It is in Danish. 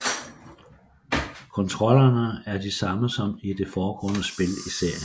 Kontrollerne er de samme som i det foregående spil i serien